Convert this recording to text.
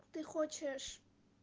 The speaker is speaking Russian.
ты хочешь